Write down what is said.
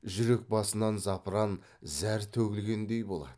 жүрек басынан запыран зәр төгілгендей болады